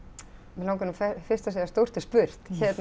mig langar nú fyrst að segja stórt er spurt